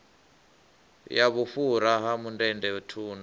ya vhufhura ha mundende thundu